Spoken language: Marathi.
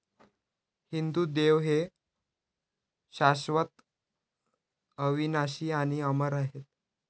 हिंदू देव हे शाश्वत, अविनाशी आणि अमर आहेत.